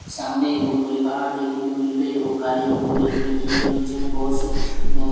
सामने एक बहोत बड़ी पहाड़ दिखने को मिल रही है वो काले एवं भूरे कलर की और नीचे में बहोत स बहोत--